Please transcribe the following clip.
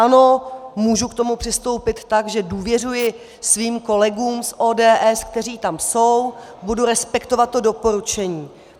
Ano, můžu k tomu přistoupit tak, že důvěřuji svým kolegům z ODS, kteří tam jsou, budu respektovat to doporučení.